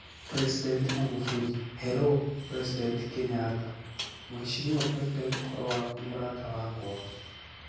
President Magufuli: Hello president Kenyatta: muheshimiwa president uhoro waku murata wakwa?